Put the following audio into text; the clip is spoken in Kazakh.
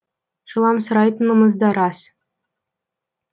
жыламсырайтынымыз да рас